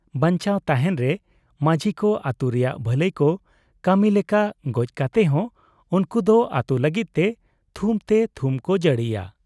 ᱵᱟᱧᱪᱟᱣ ᱛᱟᱦᱮᱸᱱ ᱨᱮ ᱢᱟᱹᱡᱷᱤᱠᱚ ᱟᱹᱛᱩ ᱨᱮᱭᱟᱜ ᱵᱷᱟᱹᱞᱟᱹᱭ ᱠᱚ ᱠᱟᱹᱢᱤ ᱞᱮᱠᱟ ᱜᱚᱡ ᱠᱟᱛᱮ ᱦᱚᱸ ᱩᱱᱠᱩ ᱫᱚ ᱟᱹᱛᱩ ᱞᱟᱹᱜᱤᱫ ᱛᱮ ᱛᱷᱩᱢ ᱛᱮ ᱛᱷᱩᱢ ᱠᱚ ᱡᱟᱲᱤᱭᱟ ᱾